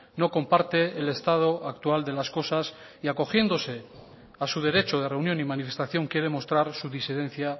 no comparte el estado actual de las cosas y acogiéndose a su derecho de reunión y manifestación quiere mostrar su disidencia